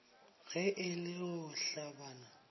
ge e le go hlabana